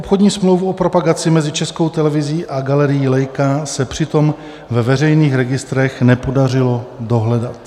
Obchodní smlouvu o propagaci mezi Českou televizí a galerií Leica se přitom ve veřejných registrech nepodařilo dohledat.